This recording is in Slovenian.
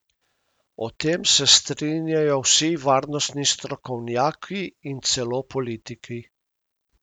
O tem se strinjajo vsi varnostni strokovnjaki in celo politiki.